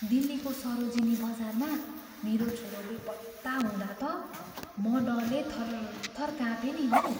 दिल्लीको सरोजिनी बजारमा मेरो छोरो बेपत्ता हुँदा त म डरले थरथर कापेँ नि हौ।